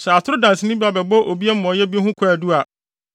Sɛ atoro danseni bi ba bɛbɔ obi amumɔyɛ bi ho kwaadu a,